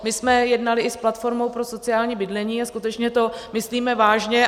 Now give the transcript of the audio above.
My jsme jednali i s platformou pro sociální bydlení a skutečně to myslíme vážně.